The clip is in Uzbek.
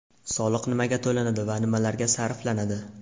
Soliq nimaga to‘lanadi va nimalarga sarflanadi?.